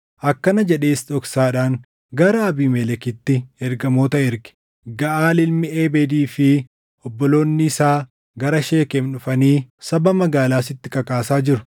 Akkana jedhees dhoksaadhaan gara Abiimelekitti ergamoota erge; “Gaʼaal ilmi Ebeedii fi obboloonni isaa gara Sheekem dhufanii saba magaalaa sitti kakaasaa jiru.